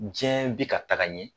Diɲɛɛ bɛ ka taga ɲɛ